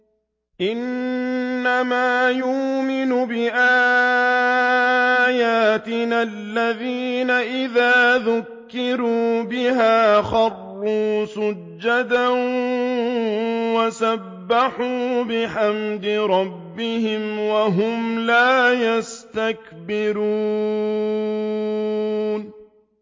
إِنَّمَا يُؤْمِنُ بِآيَاتِنَا الَّذِينَ إِذَا ذُكِّرُوا بِهَا خَرُّوا سُجَّدًا وَسَبَّحُوا بِحَمْدِ رَبِّهِمْ وَهُمْ لَا يَسْتَكْبِرُونَ ۩